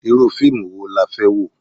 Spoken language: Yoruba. Irú fíìmù wo la fẹ́ wò?